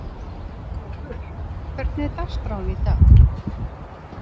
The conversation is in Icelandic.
Kolur, hvernig er dagskráin í dag?